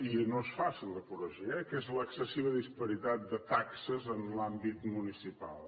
i no és fàcil de corregir eh que és l’excessiva disparitat de taxes en l’àmbit municipal